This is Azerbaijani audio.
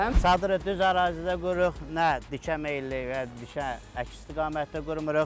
Çadırı düz ərazidə qururuq, nə dikə meyilli, nə düşə əks istiqamətdə qurmuruq.